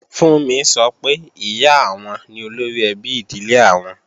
Fúnmi sọ pé, Ìyá àwọn ni olóríẹbí ìdílé àwọn